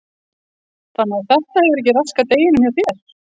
Fréttakona: Þannig að þetta hefur ekki raskað deginum hjá þér?